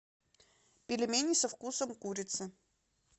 пельмени со вкусом курицы